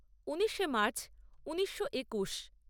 উনিশে মার্চ ঊনিশো একুশ